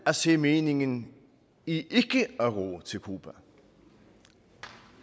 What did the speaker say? at se meningen i ikke at ro til cuba